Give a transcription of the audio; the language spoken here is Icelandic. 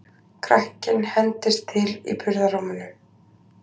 Krakkinn hendist til í burðarrúminu.